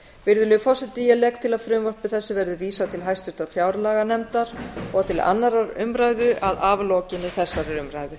virðulegi forseti ég legg til að frumvarpi þessu verði vísað til háttvirtrar fjárlaganefndar og annarrar umræðu að aflokinni þessari umræðu